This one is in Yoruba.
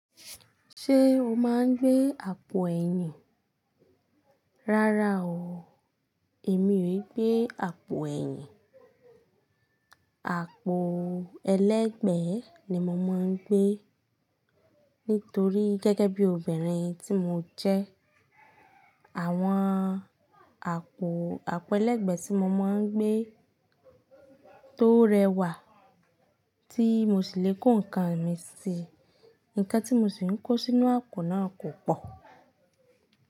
Ṣé o máa ń gbé àpò ẹ̀yìn? Rárá o, èmi ò gbé àpò ẹ̀yìn. Àpò ẹlẹ́gbẹ̀ẹ́ ni mo máa ń gbé, nítorí gẹ́gẹ́ bí obìnrin tí mo jẹ́. Àwọn àpò, àpò ẹlẹ́gbẹ̀ẹ́ tí mo máa ń gbé tó rẹwà tí mo sì lè kó nǹkan mi sí. Nǹkan tí mo sì ń kó sínú àpò náà kò pọ̀